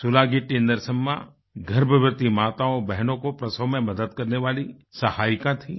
सुलागिट्टी नरसम्मा गर्भवती माताओंबहनों को प्रसव में मदद करने वाली सहायिका थीं